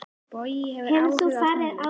Bogi hefur áhuga á tónlist.